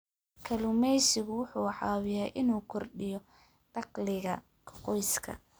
Kalluumaysigu wuxuu caawiyaa inuu kordhiyo dakhliga qoyska.